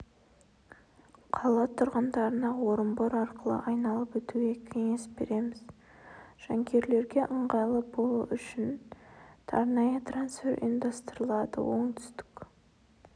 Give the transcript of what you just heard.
қала тұрғындарына орынбор арқылы айналып өтуге кеңес береміз жанкүйерлерге ыңғайлы болуы үшін арнайы трансфер ұйымдастырылады оңтүстік